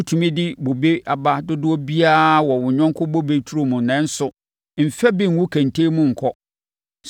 Wotumi di bobe aba dodoɔ biara wɔ wo yɔnko bobe turom nanso, mfa bi ngu kɛntɛn mu nkɔ.